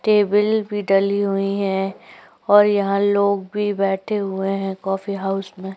Table भी डली हुई हैं और यहाँ लोग भी बैठे हुए हैं कॉफ़ी हाउस में।